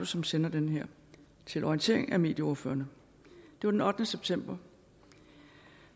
som sender den her til orientering af medieordførerne det var den ottende september